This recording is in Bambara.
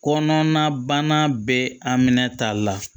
Kɔnɔna bana bɛ a minɛ ta la